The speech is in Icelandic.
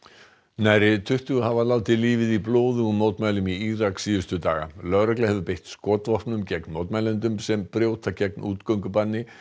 nærri tuttugu hafa látið lífið í blóðugum mótmælum í Írak síðustu daga lögregla hefur beitt skotvopnum gegn mótmælendum sem brjóta gegn útgöngubanni